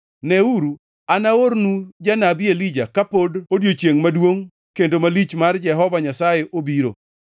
“Neuru, anaornu janabi Elija kapod odiechiengʼ maduongʼ kendo malich mar Jehova Nyasaye obiro.